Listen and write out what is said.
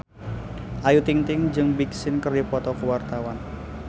Ayu Ting-ting jeung Big Sean keur dipoto ku wartawan